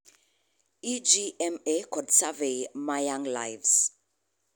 EGMA kod survey ma Young Lives